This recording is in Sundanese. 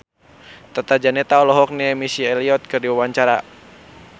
Tata Janeta olohok ningali Missy Elliott keur diwawancara